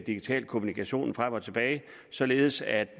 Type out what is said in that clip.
digital kommunikation frem og tilbage således at